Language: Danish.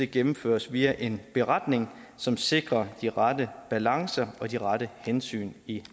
gennemføres via en beretning som sikrer de rette balancer og de rette hensyn i